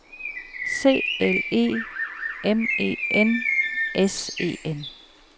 C L E M E N S E N